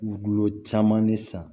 Gulo caman ne san